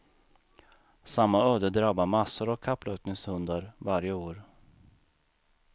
Samma öde drabbar massor av kapplöpningshundar varje år.